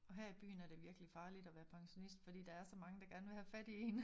Og her i byen er det virkelig farligt at være pensionist fordi der er så mange der gerne vil have fat i én